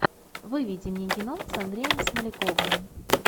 выведи мне кино с андреем смоляковым